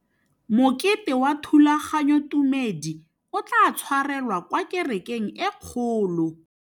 Mokete wa thulaganyôtumêdi o tla tshwarelwa kwa kerekeng e kgolo.